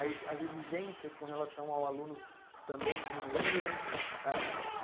As exigências com relação ao aluno também diminuíram?